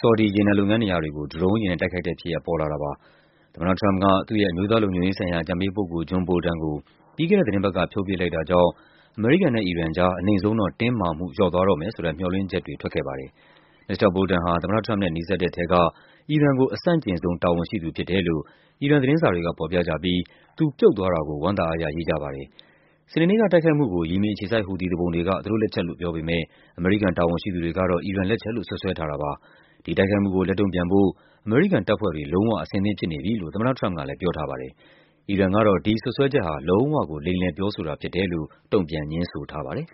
ဆော်ဒီ ရေနံလုပ်ငန်းနေရာတွေကို ဒရုံးယာဉ်နဲ့ တိုက်ခိုက်တဲ့ဖြစ်ရပ် ပေါ်လာတာပါ။ သမ္မတထရမ့်ပ်က သူ့ရဲ့ အမျိုးသားလုံခြုံရေးဆိုင်ရာ အကြံပေးပုဂ္ဂိုလ် John Bolton ကို ပြီးခဲ့တဲ့သီတင်းပတ်က ဖြုတ်ပစ်လိုက်တာ ကြောင့် အမေရိကန်နဲ့ အီရန်ကြား အနိမ့်ဆုံးတော့ တင်းမာမှု လျော့သွားတော့မယ်ဆိုတဲ့ မျှော်လင့်ချက်တွေ ထွက်ခဲ့ပါတယ်။ မစ္စတာ Bolton ဟာ သမ္မတထရမ့်ပ်နဲ့ နီးစပ်တဲ့ထဲက အီရန်ကို အဆန့်ကျင်ဆုံး တာဝန်ရှိသူဖြစ်တယ်လို့ အီရန်သတင်းစာတွေက ဖော်ပြကြပြီး သူပြုတ်သွားတာကို ဝမ်းသာအားရရေးကြပါတယ်။ စနေနေ့က တိုက်ခိုက်မှုကို ယီမင်အခြေစိုက် ဟူသီသူပုန်တွေက သူတို့လက်ချက်လို့ပြောပေမယ့် အမေရိကန် တာဝန်ရှိသူတွေက တော့ အီရန်လက်ချက်လို့ စွပ်စွဲထားပါတယ်။ ဒီတိုက်ခိုက်မှုကို လက်တုန့်ပြန်ဖို့ အမေရိကန်တပ်ဖွဲ့တွေ လုံးဝ အဆင်သင့်ဖြစ်နေပြီ လို့ သမ္မတထရမ့်ပ်ကလည်း ပြောထားပါတယ်။ အီရန်ကတော့ ဒီစွပ်စွဲချက်ဟာ လုံးဝကို လိမ်လည်ပြောဆိုတာဖြစ်တယ်လို့ တုံ့ပြန် ငြင်းဆိုထားပါတယ်။